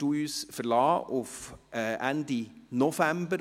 Leider verlassen Sie uns auf Ende November.